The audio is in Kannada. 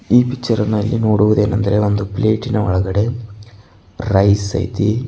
ಈ ಪಿಚ್ಚರ್ ಅನ್ನ ಇಲ್ಲಿ ನೋಡುವುದೇನೆಂದರೆ ಎಂದು ಪ್ಲೇಟಿನ ಒಳಗಡೆ ರೈಸ್ ಐತಿ.